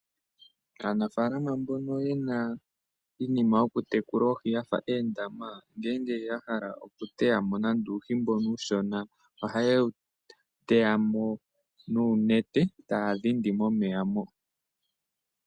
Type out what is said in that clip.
Aanafalama mbono ye na iinima yokutekula oohi ya fa oondama, ngele ya hala okuteya mo nande uuhi mbono uushona, ohaye wu teya mo nuunete, taya dhindi momeya moka.